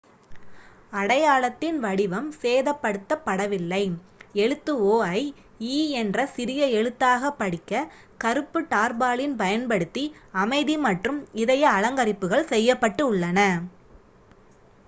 "அடையாளத்தின் வடிவம் சேதப்படுத்தப் படவில்லை; எழுத்து "o" ஐ "e" என்ற சிறிய எழுத்தாகப் படிக்க கருப்பு டார்பாலின் பயன்படுத்தி அமைதி மற்றும் இதய அலங்கரிப்புகள் செய்யப்பட்டுள்ளன.